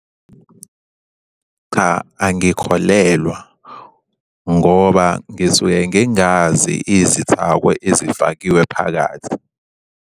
Cha, angikholelwa ngoba ngisuke ngingazi izithako ezifakiwe phakathi.